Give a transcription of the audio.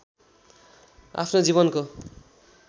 आफ्नो जीवनको